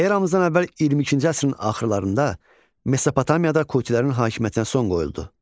Eramızdan əvvəl 22-ci əsrin axırlarında Mesopotamiyada Kutilərin hakimiyyətinə son qoyuldu.